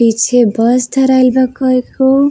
पीछे बस धराइल बा कय खो।